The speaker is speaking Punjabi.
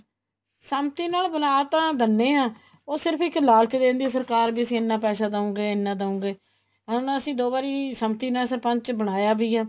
ਸੰਮਤੀ ਨਾਲ ਬਣਾ ਤਾਂ ਦਿੰਨੇ ਆ ਉਹ ਸਿਰਫ਼ ਇੱਕ ਲਾਲਚ ਦੇ ਦਿੰਦੀ ਆ ਸਰਕਾਰ ਵੀ ਅਸੀਂ ਇਹਨਾ ਪੈਸਾ ਦਹੁਗੇ ਇੰਨਾ ਦਹੁਗੇ ਹੁਣ ਅਸੀਂ ਦੋ ਵਾਰੀ ਸੰਮਤੀ ਨਾਲ ਸਰਪੰਚ ਬਣਾਇਆ ਵੀ ਆ